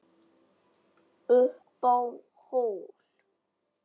Upp á hól